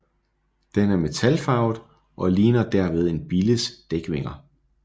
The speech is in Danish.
Den er metalfarvet og ligner derved en billes dækvinger